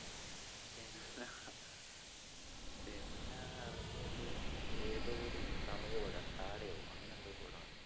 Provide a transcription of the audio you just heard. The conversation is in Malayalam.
പിന്നെ എറങ്ങിയത് ഏതോ ഒരു തമിഴ് പടം ഡാഡയോ അങ്ങനെ എന്തോ ഒരു പടമാ.